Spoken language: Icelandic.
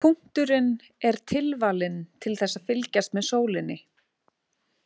Punkturinn er tilvalinn til þess að fylgjast með sólinni.